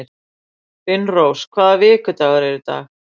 Finnrós, hvaða vikudagur er í dag?